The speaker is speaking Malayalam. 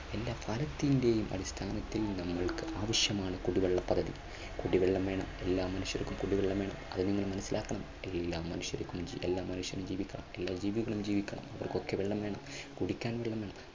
എല്ലാ ഫലത്തിന്റെയും അടിസ്ഥാനത്തിൽ നിന്നുകൊണ്ട് ആവശ്യമാണ് കുടിവെള്ള പദ്ധതി. കുടിവെള്ളം വേണം എല്ലാ മനുഷ്യർക്കും കുടിവെള്ളം വേണം അതൊന്ന് മനസ്സിലാക്കണം എല്ലാ മനുഷ്യർക്കും, എല്ലാ മനുഷ്യനും ജീവിക്കണം എല്ലാ ജീവികൾക്കും ജീവിക്കണം ഇവർക്കൊക്കെ വെള്ളം വേണം കുടിക്കാൻ വെള്ളം വേണം.